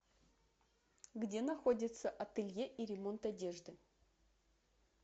где находится ателье и ремонт одежды